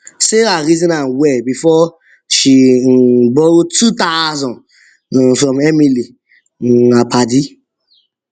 sarah reason am well before she um borrow two thousand um from emily um her padi